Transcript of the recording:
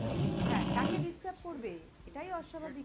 হ্যাঁ তাকে disturb করবে এটাই অস্বাভাবিক